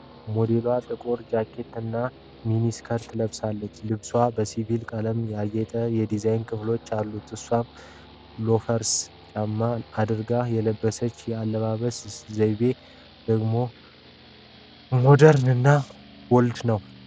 ሞዴሏ ጥቁር ጃኬት እና ሚኒ ስኪርት ለብሳለች። ልብሱ በሲልቨር ቀለም ያጌጡ የዲዛይን ክፍሎች አሉት። እሷም ሎፈርስ ጫማ አድርጋለች። የለበሰችው የአለባበስ ዘይቤ ሞደርን እና ቦልድ ነው ።